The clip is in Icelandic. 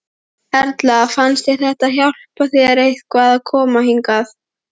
Erla: Fannst þér þetta hjálpa þér eitthvað að koma hingað?